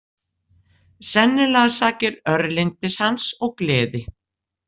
Sennilega sakir örlyndis hans og gleði.